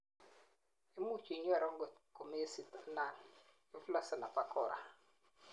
imuch inyoru angot ko mesit anan iflossen abakora